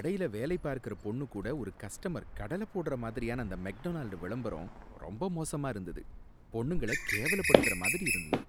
கடையில வேலை பார்க்கற பொண்ணு கூட ஒரு கஸ்டமர் கடல போடுற மாதிரியான அந்த மெக்டொனால்டு விளம்பரம் ரொம்ப மோசமா இருந்தது, பொண்ணுங்களை கேலவப்படுத்துற மாதிரி இருந்தது.